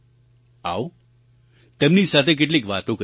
આવો તેમની સાથે કેટલીક વાતો કરીએ